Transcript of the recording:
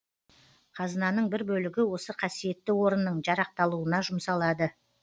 қазынаның бір бөлігі осы қасиетті орынның жарақталуына жұмсалады